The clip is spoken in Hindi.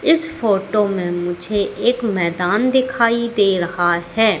इस फोटो में मुझे एक मैदान दिखाई दे रहा है।